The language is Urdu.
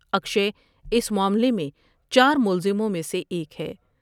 اکشے اس معاملے میں چار ملزموں میں سے ایک ہے ۔